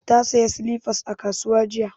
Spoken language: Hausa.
Ta saya silifas a kasuwa jiya